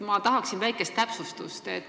Ma tahaksin väikest täpsustust.